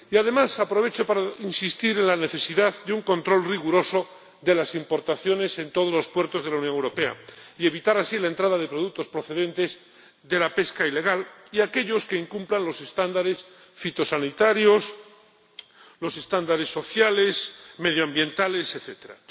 Y además aprovecho para insistir en la necesidad de un control riguroso de las importaciones en todos los puertos de la Unión Europea y evitar así la entrada de productos procedentes de la pesca ilegal y de aquellos que incumplan los estándares fitosanitarios, los estándares sociales, medioambientales, etcétera.